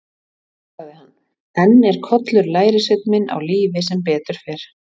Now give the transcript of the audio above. Þá sagði hann: Enn er Kollur lærisveinn minn á lífi sem betur fer.